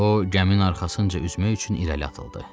O, gəminin arxasınca üzmək üçün irəli atıldı.